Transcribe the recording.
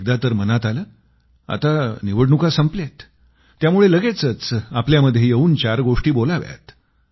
एकदा तर मनात आलं आता निवडणुका संपल्या आहेत त्यामुळं लगेचच आपल्यामध्ये येवून चार गोष्टी बोलाव्यात